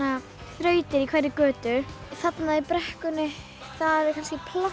þrautir í hverri götu þarna í brekkunni er